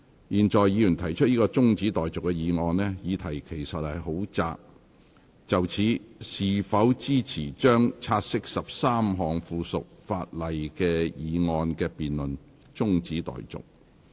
現在議員提出的中止待續議案，議題其實很窄，就是：是否支持將察悉13項附屬法例的議案的辯論中止待續。